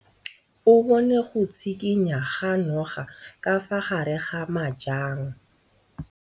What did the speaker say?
O bone go tshikinya ga noga ka fa gare ga majang.